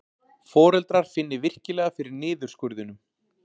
Foreldrar finni virkilega fyrir niðurskurðinum